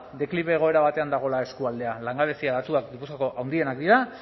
deklibe egoera batean dagoela eskualdea langabezia datuak gipuzkoako handienak dira